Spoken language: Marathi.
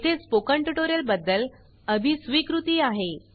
येथे स्पोकन ट्यूटोरियल बदद्ल अभी स्वीकृती आहे